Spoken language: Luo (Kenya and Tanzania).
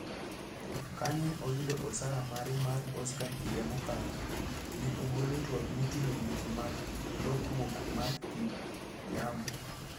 Kane oyudo osara mare mar Oscar higa mokalo, ne ogolo twak moting'o weche mag lokruok mar kit yamo.